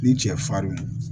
Ni cɛ farinw